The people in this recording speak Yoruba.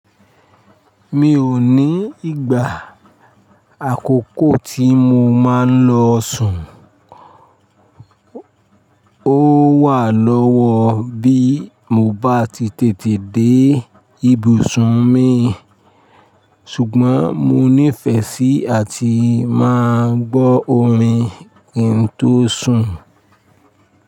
Mi ò ní ìgbà àkókò tí mo máa ń lọ sùn, ó wà lọ́wọ́ bí mo bá ti tètè dé ibùsùn mi, ṣùgbọ́n mo nífẹsí àti máa ń gbọ́ orin kíń tòsùn.